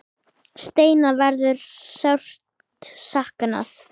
Steina verður sárt saknað.